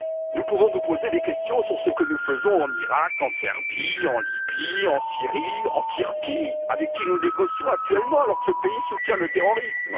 Nous pouvons nous poser des questions sur ce que nous faisons en Irak, en Serbie, en Libye, en Syrie, en Turquie, pays avec qui nous négocions actuellement alors qu'il soutient le terrorisme.